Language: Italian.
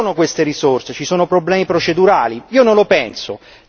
Si dice non ci sono queste risorse, ci sono problemi procedurali.